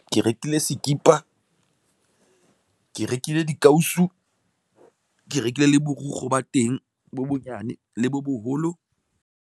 Ke rekile sekipa, ke rekile dikausu, ke rekile le borukgo ba teng bo bonyane le bo boholo.